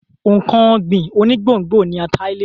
Nǹkan ọ̀gbìn onígbòǹgbò ni ata ilẹ̀.